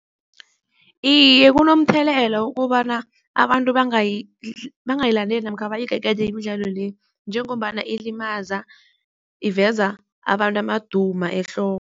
Iye, kunomthelela ukobana abantu bangayilandeli namkha bayigegede imidlalo le, njengombana ilimaza iveza abantu amaduma ehloko.